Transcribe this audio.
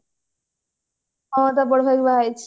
ହଁ ବାହା ହେଇଛି